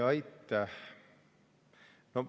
Aitäh!